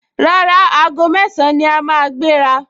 Rárá, aago mẹ́ẹ̀sán ni a máa gbéra